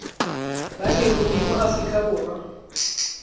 ba leruri mo aforika borwa